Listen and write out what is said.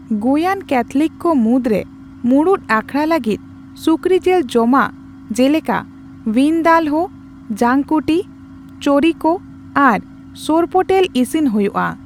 ᱜᱳᱭᱟᱱ ᱠᱮᱛᱷᱞᱤᱠ ᱠᱚ ᱢᱩᱫᱽᱨᱮ ᱢᱩᱲᱩᱫ ᱟᱠᱷᱲᱟ ᱞᱟᱹᱜᱤᱫ ᱥᱩᱠᱨᱤ ᱡᱮᱹᱞ ᱡᱚᱢᱟᱜ ᱡᱮ ᱞᱮᱠᱟ ᱵᱷᱤᱱᱫᱟᱞᱦᱳ, ᱡᱟᱠᱩᱴᱤ, ᱪᱳᱨᱤᱠᱳ ᱟᱨ ᱥᱳᱨᱯᱳᱴᱮᱞ ᱤᱥᱤᱱ ᱦᱳᱭᱳᱜᱼᱟ ᱾